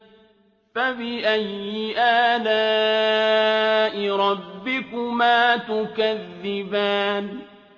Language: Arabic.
فَبِأَيِّ آلَاءِ رَبِّكُمَا تُكَذِّبَانِ